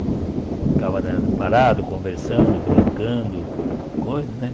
Ficava né parado, conversando, brincando, coisas, né?